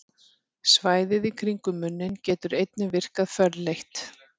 Svæðið í kringum munninn getur einnig virkað fölleitt.